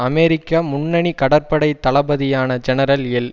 அமெரிக்க முன்னணி கடற்படை தளபதியான ஜெனரல் எல்